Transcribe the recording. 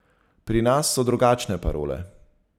Pri nas so drugačne parole.